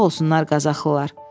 Sağ olsunlar Qazaxlılar.